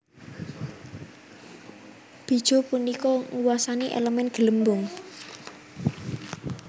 Bijuu punika nguwasani elemen Gelembung